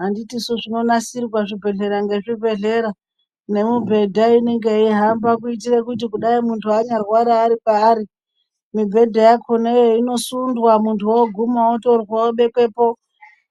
Handitiso zvinonasirwa zvibhedhlera ngezvibhedhera nemibhedha inenge ihamba kuitire kuti kunyange muntu eirwara ari paari mibhedha yakona iyoyo inosundwa muntu oguma otorwa obiswepo